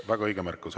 Väga õige märkus.